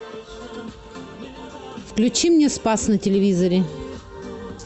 включи мне спас на телевизоре